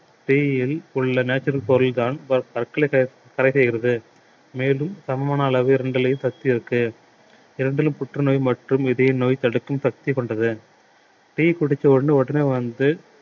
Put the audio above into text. tea யில் உள்ள natural பொருள்தான் தடை செய்கிறது மேலும் சமமான அளவு இரண்டிலேயும் சக்தி இருக்கு இரண்டிலும் புற்றுநோய் மற்றும் இதய நோய் தடுக்கும் சக்தி கொண்டது tea குடிச்ச உடனே உடனே வந்து